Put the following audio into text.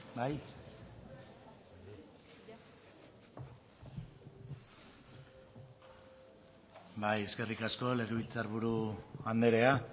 da hitza bai eskerrik asko legebiltzar buru andrea